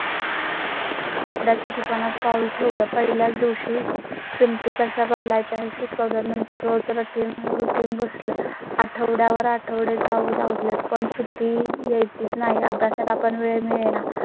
कपड्या च्या दुकानात पाऊल ठेवलं. पहिल्याच दिवशी चं ते कशा घालायच्या शिकवल्या नंतर रोज रात्री routine बसला. आठवड्या वर आठवडे जाऊ लागले. पण सुट्टी यायचीच नाही. अभ्यास ला पण वेळ मिळेना